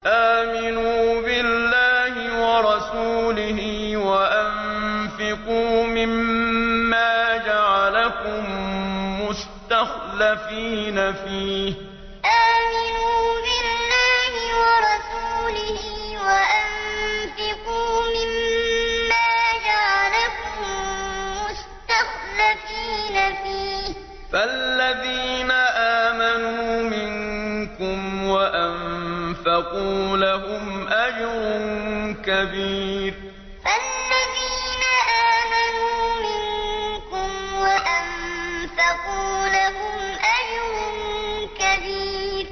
آمِنُوا بِاللَّهِ وَرَسُولِهِ وَأَنفِقُوا مِمَّا جَعَلَكُم مُّسْتَخْلَفِينَ فِيهِ ۖ فَالَّذِينَ آمَنُوا مِنكُمْ وَأَنفَقُوا لَهُمْ أَجْرٌ كَبِيرٌ آمِنُوا بِاللَّهِ وَرَسُولِهِ وَأَنفِقُوا مِمَّا جَعَلَكُم مُّسْتَخْلَفِينَ فِيهِ ۖ فَالَّذِينَ آمَنُوا مِنكُمْ وَأَنفَقُوا لَهُمْ أَجْرٌ كَبِيرٌ